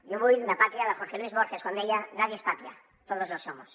jo vull la pàtria de jorge luis borges quan deia nadie es patria todos lo somos